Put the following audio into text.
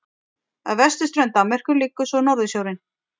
Að vesturströnd Danmerkur liggur svo Norðursjórinn.